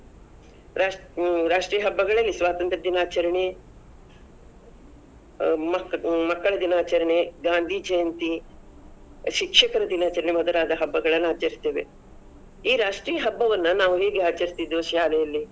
ರಾಶ್~ ಹ್ಮ್, ರಾಷ್ಟ್ರೀಯ ಹಬಗಳಲ್ಲಿ ಸ್ವಾತಂತ್ರ್ಯ ದಿನಾಚರಣೆ ಹ ಮಕ್ಕ~ ಮಕ್ಕಳ ದಿನಾಚರಣೆ, ಗಾಂಧಿಜಯಂತಿ, ಶಿಕ್ಷಕರ ದಿನಾಚರಣೆ ಮೊದಲಾದ ಹಬ್ಬಗಳನ್ನ ಆಚರಿಸ್ತೆವೆ, ಈ ರಾಷ್ಟ್ರೀಯ ಹಬವನ್ನ ನಾವು ಹೇಗೆ ಆಚರಿಸ್ತಿದ್ವು ಶಾಲೆಯಲ್ಲಿ.